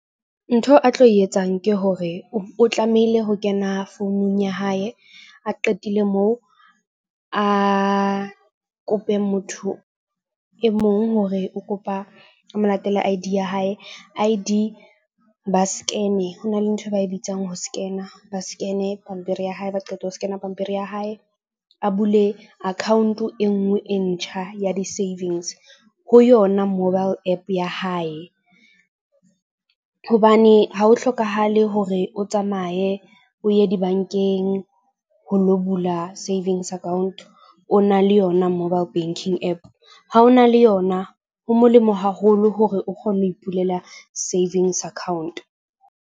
Ntho a tlo e etsang ke hore o tlamehile ho kena founung ya hae, a qetile moo a kope motho e mong hore o kopa a mo latele I_D ya hae. I_D ba scan-e ho na le nthwe ba e bitsang ho scan-a ba scan-e pampiri ya hae, ha ba qeta ho scan-a pampiri ya hae. A bule account e nngwe e ntjha ya di-savings ho yona mobile app ya hae, hobane ha ho hlokahale hore o tsamaye o ye di-bank-eng ho lo bula savings account o na le yona mobile banking app. Ha ho na le yona, ho molemo haholo hore o kgone ho ipulela savings account.